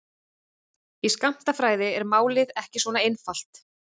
Í skammtafræði er málið ekki svona einfalt.